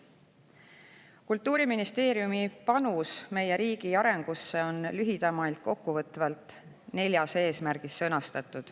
Kultuuriministeeriumi panus meie riigi arengusse on lühidalt kokku võetav nelja eesmärgina.